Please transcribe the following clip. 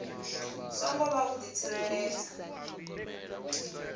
songo vha u di tsireledza